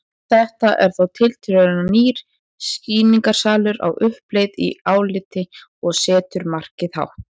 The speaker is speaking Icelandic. Þetta er þá tiltölulega nýr sýningarsalur á uppleið í áliti og setur markið hátt.